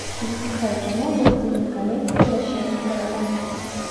запускай кино властелин колец возвращение короля